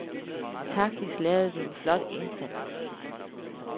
Taktisk lavede vi en flot indsats.